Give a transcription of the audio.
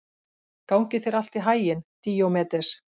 Gangi þér allt í haginn, Díómedes.